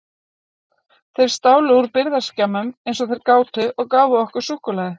Þeir stálu úr birgðaskemmum eins og þeir gátu og gáfu okkur súkkulaði.